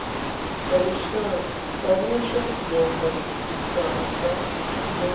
sa vhusha domba tshikanda na